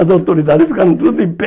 As autoridades ficaram tudo em pé.